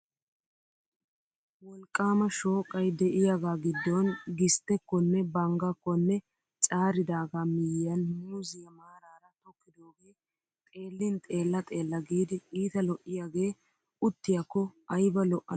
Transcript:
Wolqqaama shooqay de'iyagaa giddon gisttekkonne banggakkonne caaridaagaa miyyiyan muuziya maaraara tokkidoogee xeellin xeella xeella giidi iita lo"iyagee uttiyakko ayba lo"ana gaadii.